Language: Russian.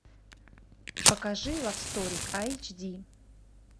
покажи лав стори айч ди